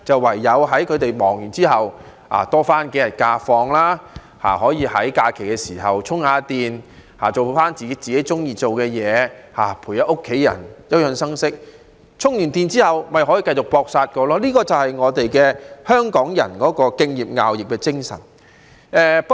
唯有在他們忙碌過後可以多放數天假期，在假期稍作充電，做自己喜歡做的事，陪伴家人，休養生息，以便充電後繼續"搏殺"，而這便是香港人敬業樂業的精神。